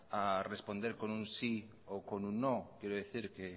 a responder con un sí o con un no quiero decir que